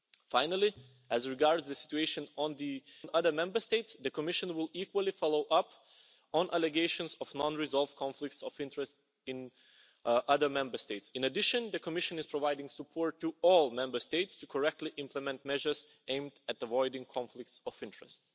Finally, as regards the situation in other Member States, the Commission will equally follow up on allegations of non resolved conflicts of interest in other Member States. In addition, the Commission is providing support to all Member States to correctly implement measures aimed at avoiding conflicts of interest.